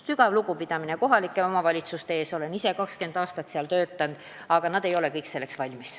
Sügav lugupidamine kohalike omavalitsuste ees – olen ise 20 aastat seal töötanud –, aga nad ei ole kõik selleks valmis.